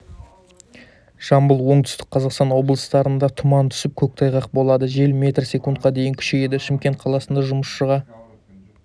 жамбыл оңтүстік қазақстан облыстарында тұман түсіп көктайғақ болады жел метр секундқа дейін күшейеді шымкент қаласында жұмысшыға